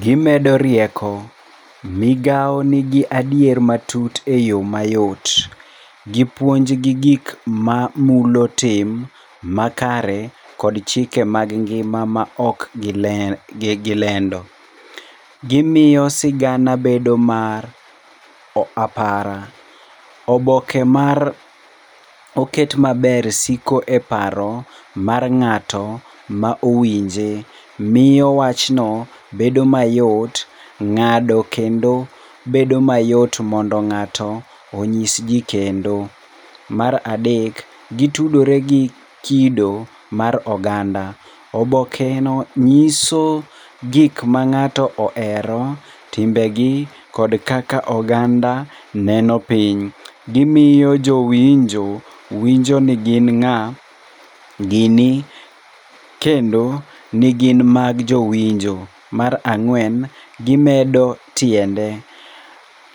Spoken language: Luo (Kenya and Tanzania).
Gimedo rieko. Migawo nigi adier matut e yo mayot. Gipuonj gi gik mamulo tim makare kod chike mag ngima ma ok gilendo. Gimiyo sigana bedo mar apara. Oboke ma oket maber siko e paro mar ng'ato ma owinje. Miyo wachno bedo mayot, ng'ado kendo bedo mayot mondo ng'ato onyis ji kendo. Mar adek, gitudore gi kido mar oganda. Obokeno nyiso gik ma ng'ato ohero, timbegi kod kaka oganda neno piny. Gimiyo jowinjo winjo ni gin ng'a, gini kendo ni gin mag jowinjo. Mar ang'wen, gimedo tiende.